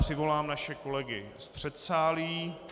Přivolám naše kolegy z předsálí.